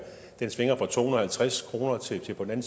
svinger fra to hundrede og halvtreds kroner til på den